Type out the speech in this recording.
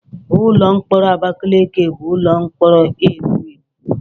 Ụlọ mkpọrọ Abakaliki bụ ụlọ mkpọrọ ewu ewu.